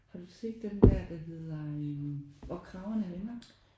Har du set den der der hedder øh Hvor kragerne vender?